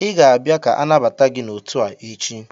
Ị ga-abịa ka anabata gị n'otu a echi!